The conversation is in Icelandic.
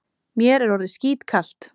Mér er orðið skítkalt.